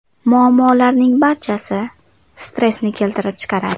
Muammolarning barchasi stressni keltirib chiqaradi.